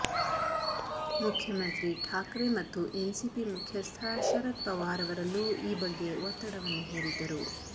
ಮುಖ್ಯಮಂತ್ರಿ ಠಾಕ್ರೆ ಮತ್ತು ಎನ್ಸಿಪಿ ಮುಖ್ಯಸ್ಥ ಶರದ್ ಪವಾರ್ ಅವರಲ್ಲೂ ಈ ಬಗ್ಗೆ ಒತ್ತಡವನ್ನು ಹೇರಿದ್ದರು